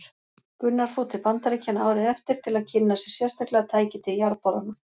Gunnar fór til Bandaríkjanna árið eftir til að kynna sér sérstaklega tæki til jarðborana.